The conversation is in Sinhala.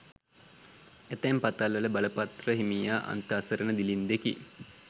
ඇතැම් පතල්වල බලපත්‍ර හිමියා අන්ත අසරණ දිළින්දෙකි.